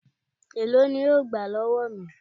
Èló ni wọn yóò gbà lọ́wọ́ mi?